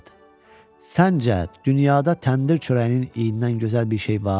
Səncə, dünyada təndir çörəyinin iyindən gözəl bir şey var?